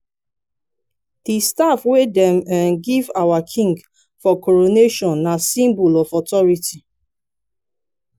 di staff wey dem um give our king for coronation na symbol of authority.